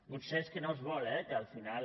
potser és que no es vol eh que al final